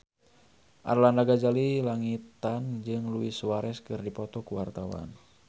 Arlanda Ghazali Langitan jeung Luis Suarez keur dipoto ku wartawan